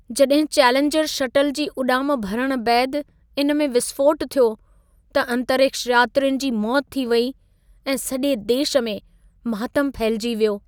जड॒हिं Challenger shuttle जी उॾाम भरण बैदि इन में विस्फ़ोटु थियो, त अंतरिक्ष यात्रियुनि जी मौति थी वेई ऐं सॼे देश में मातम फहिलिजी वियो।